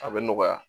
A bɛ nɔgɔya